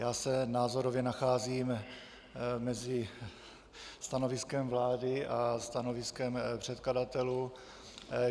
Já se názorově nacházím mezi stanoviskem vlády a stanoviskem předkladatelů.